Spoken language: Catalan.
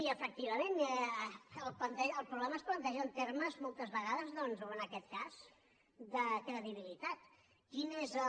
i efectivament el problema és planteja en termes moltes vegades doncs o en aquest cas de credibilitat quin és el